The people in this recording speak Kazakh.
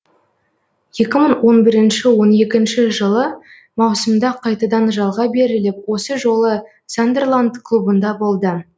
екі мың он бірінші он екінші жылы маусымда қайтадан жалға беріліп осы жолы сандерланд клубында болды